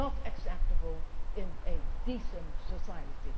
issue. It is not acceptable in a decent society.